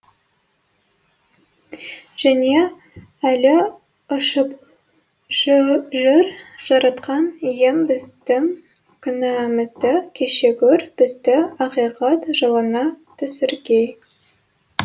және әлі ұшып жүр жаратқан ием біздің күнәмізді кеше гөр бізді ақиқат жолына түсіргей